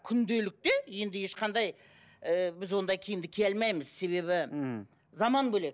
күнделікті енді ешқандай ыыы біз ондай киімді кие алмаймыз себебі мхм заман бөлек